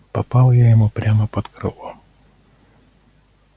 попал я ему прямо под крыло